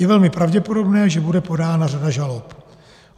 Je velmi pravděpodobné, že bude podána řada žalob.